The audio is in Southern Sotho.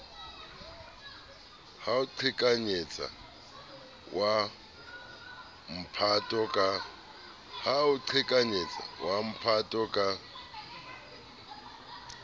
ho qhekanyetsa wa mphato ka